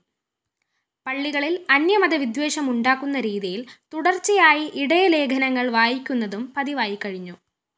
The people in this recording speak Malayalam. പള്ളികളില്‍ അന്യമത വിദ്വേഷമുണ്ടാക്കുന്ന രീതിയില്‍ തുടര്‍ച്ചയായി ഇടയലേഖനങ്ങള്‍ വായിക്കുന്നതും പതിവായിക്കഴിഞ്ഞു